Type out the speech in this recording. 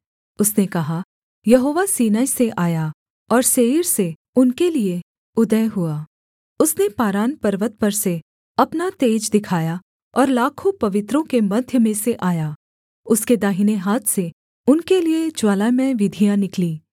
उसने कहा यहोवा सीनै से आया और सेईर से उनके लिये उदय हुआ उसने पारान पर्वत पर से अपना तेज दिखाया और लाखों पवित्रों के मध्य में से आया उसके दाहिने हाथ से उनके लिये ज्वालामय विधियाँ निकलीं